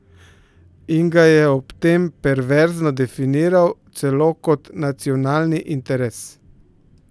In ga je ob tem perverzno definiral celo kot nacionalni interes!